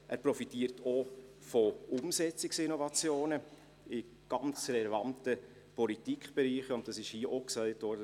Er profitiert auch von Umsetzungsinnovationen in ganz relevanten Politikbereichen, und das wurde hier auch gesagt: